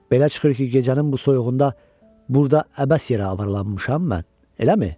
Belə çıxır ki, gecənin bu soyuğunda burda əbəs yerə avaralanmışam mən, eləmi?